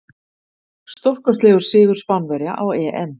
Stórkostlegur sigur Spánverja á EM.